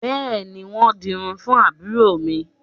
Bẹ́ẹ̀ni, wọn ń dirun fún àbúrò mi